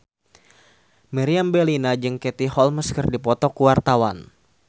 Meriam Bellina jeung Katie Holmes keur dipoto ku wartawan